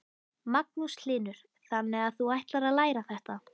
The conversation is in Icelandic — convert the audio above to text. Magnús Hlynur: Þannig að þú ætlar að læra þetta?